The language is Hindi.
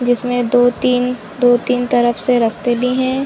जिसमे दो-तीन दो-तीन तरफ से रस्ते दिए है।